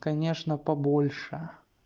конечно побольше